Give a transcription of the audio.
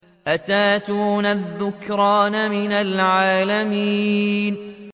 أَتَأْتُونَ الذُّكْرَانَ مِنَ الْعَالَمِينَ